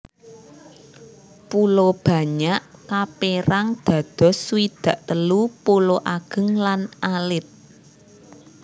Pulo Banyak kapérang dados swidak telu pulo ageng lan alit